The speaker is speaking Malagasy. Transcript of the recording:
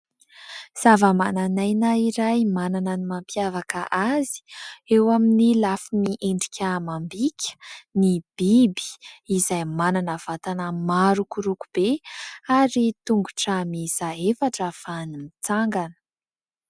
Zavamananaina iray manana ny mampiavaka azy eo amin'ny lafiny endrika amam-bika ny biby ; izay manana vatana marokoroko be ary tongotra miisa efatra ahafahany mitsangana.